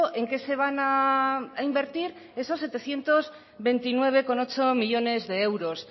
en qué se van a invertir esos setecientos veintinueve coma ocho millónes de euros